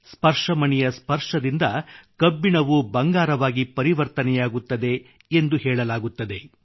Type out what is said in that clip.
ಸ್ಪರ್ಶಮಣಿಯ ಸ್ಪರ್ಶದಿಂದ ಕಬ್ಬಿಣವೂ ಬಂಗಾರವಾಗಿ ಪರಿವರ್ತನೆಯಾಗುತ್ತದೆ ಎಂದು ಹೇಳಲಾಗುತ್ತದೆ